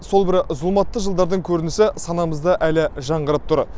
сол бір зұлматты жылдардың көрінісі санамызда әлі жаңғырып тұр